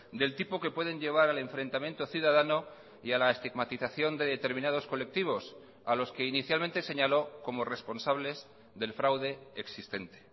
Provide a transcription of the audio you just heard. del tipo que pueden llevar al enfrentamiento ciudadano y a la estigmatización de determinados colectivos a los que inicialmente señaló como responsables del fraude existente